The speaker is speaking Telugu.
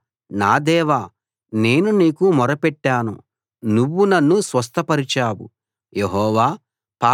యెహోవా నా దేవా నేను నీకు మొరపెట్టాను నువ్వు నన్ను స్వస్థపరిచావు